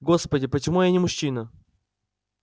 господи почему я не мужчина